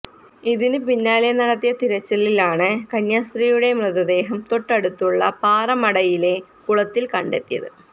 ഇതിന് പിന്നാലെ നടത്തിയ തിരച്ചിലിലാണ് കന്യാസ്ത്രീയുടെ മൃതദേഹം തൊട്ടടുത്തുള്ള പാറമടയിലെ കുളത്തിൽ കണ്ടെത്തിയത്